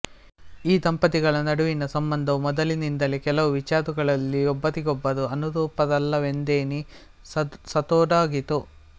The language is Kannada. ಈ ದಂಪತಿಗಳ ನಡುವಿನ ಸಂಬಂಧವು ಮೊದಲಿನಿಂದಲೇ ಕೆಲವು ವಿಚಾರಗಳಲ್ಲಿ ಒಬ್ಬರಿಗೊಬ್ಬರು ಅನುರೂಪರಲ್ಲವೆಂದೆನಿಸತೊಡಗಿತು